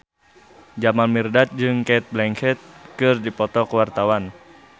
Jamal Mirdad jeung Cate Blanchett keur dipoto ku wartawan